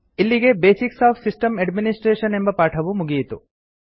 ಇಲ್ಲಿಗೆ basics of system administration ಎಂಬ ಪಾಠವು ಮುಗಿಯಿತು